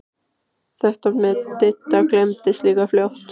Þetta með Didda gleymdist líka fljótt.